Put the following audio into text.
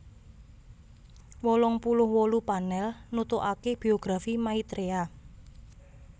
wolung puluh wolu panel nutugake Biografi Maitreya